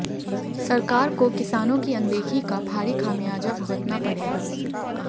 सरकार को किसानों की अनदेखी का भारी खमियाजा भुगतना पड़ेगा